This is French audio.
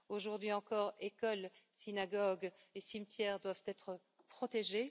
Aujourd'hui encore, écoles, synagogues et cimetières doivent être protégés.